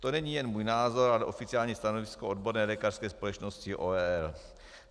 To není jen můj názor, ale oficiální stanovisko odborné lékařské společnosti ORL.